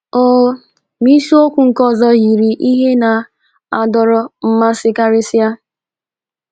Oo, ma isiokwu nke ọzọ yiri ihe na na - adọrọ mmasị karịsịa.